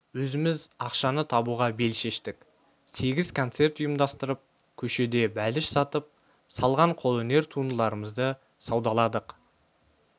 өзіміз ақшаны табуға бел шештік сегіз концерт ұйымдастырып көшеде бәліш сатып салған қолөнер туындыларымызды саудаладық